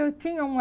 Eu tinha uma